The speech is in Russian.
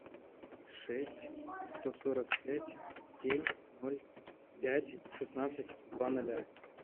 шесть сто сорок пять семь ноль пять шестнадцать два ноля